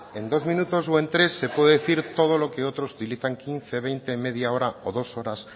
en dos minutos o en tres se puede decir todo lo que otros utilizan quince veinte media hora o dos horas